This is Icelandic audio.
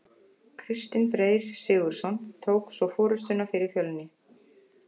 Kristinn Freyr Sigurðsson tók svo forystuna fyrir Fjölni.